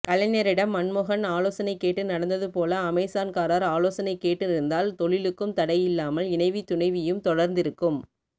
கலைஞரிடம் மன்மோகன் ஆலோசனை கேட்டு நடந்தது போல அமேசான்காரர் ஆலோசனை கேட்டிருந்தால் தொழிலுக்கும் தடை இல்லாமல் இணைவி துணைவியும் தொடர்ந்திருக்கும்